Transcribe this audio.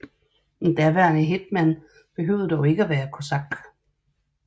En daværende hétman behøvede dog ikke at være kosak